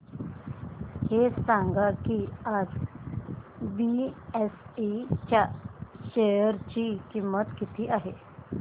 हे सांगा की आज बीएसई च्या शेअर ची किंमत किती आहे